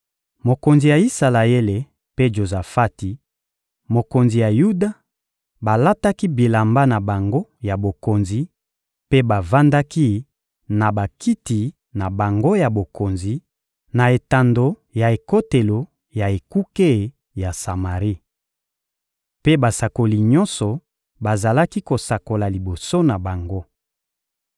Mokonzi ya Isalaele mpe Jozafati, mokonzi ya Yuda, balataki bilamba na bango ya bokonzi mpe bavandaki na bakiti na bango ya bokonzi, na etando ya ekotelo ya ekuke ya Samari. Mpe basakoli nyonso bazalaki kosakola liboso na bango.